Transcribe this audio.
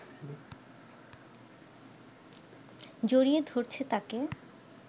জড়িয়ে ধরছে তাকে